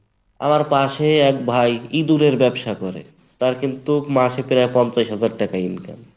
আমার পাশে এক ভাই ইঁদুরের ব্যবসা করে, তার কিন্তু মাসে প্রায় পঞ্চাশ হাজার টাকা income